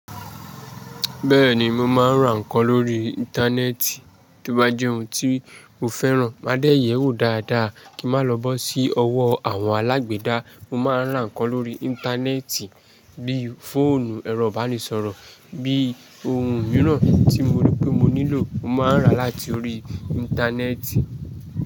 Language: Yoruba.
Bẹ́ẹ̀ni mo máa ń ra ǹknan lórí Íńtánẹ́ẹ̀tì. Tí ó bá jẹ́ ohun tí mo fẹ́ràn, máa dé ẹ wò dáadáa kíi máa lọ sí ọwọ́ àwọn alágbèda. Mo máa ń ra ǹnkan lórí Íńtánẹ́ẹ̀tì bíí fóònù, ẹ̀rọ ìbánisọ̀rọ̀, bí ohun mìíràn tí mo rí pé mo nílò, mo máa ń rà láti orí Íńtánẹ́ẹ̀tì.